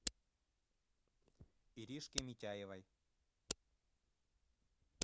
иришке митяевой